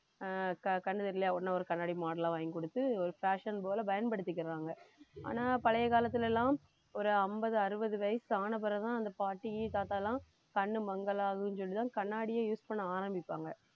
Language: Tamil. ஆஹ் கண்~ கண்ணு தெரியலயா உடனே ஒரு கண்ணாடி model ல வாங்கி கொடுத்து ஒரு fashion போல பயன்படுத்திக்கிறாங்க ஆனா பழைய காலத்துல எல்லாம் ஒரு ஐம்பது, அறுபது வயசு ஆன பிறகுதான் அந்த பாட்டி தாத்தா எல்லாம் கண்ணு மங்கலாகுன்னு சொல்லிதான் கண்ணாடியே use பண்ண ஆரம்பிப்பாங்க